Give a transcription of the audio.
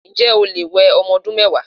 Ǹjé̩ o lè we o̩mo̩ odún mé̩wàá?